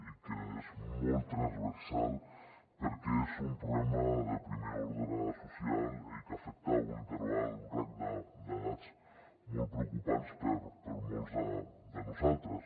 i és molt transversal perquè és un problema de primer ordre social i que afecta un interval uns rangs d’edats molt preocupants per molts de nosaltres